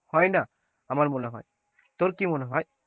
হয় না আমার মনে হয়, তোর কি মনে হয়?